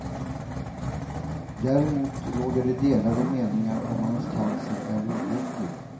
Däremot råder det delade meningar om hans cancer är obotlig.